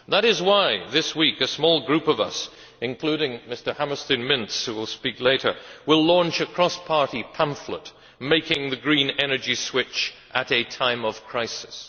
That is why this week a small group of us, including Mr Hammerstein, who will speak later, will launch a cross party pamphlet, Making the Green Energy Switch at a Time of Crisis